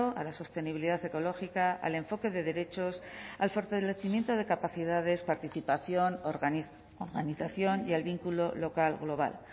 a la sostenibilidad ecológica al enfoque de derechos al fortalecimiento de capacidades participación organización y el vínculo local global